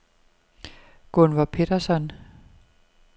Gunvor Petterson